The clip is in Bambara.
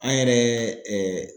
An yɛrɛ